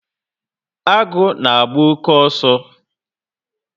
Agu na agba-oke ọsọ